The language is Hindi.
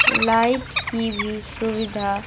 लाइट की भी सुविधा--